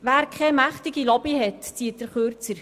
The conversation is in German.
Wer keine mächtige Lobby hat, zieht den Kürzeren.